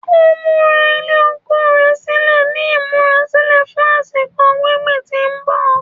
Ó múra ilẹ̀ oko rẹ̀ sílẹ̀ ní ìmúrasílẹ̀ fún àsìkò gbingbin tí ń bọ̀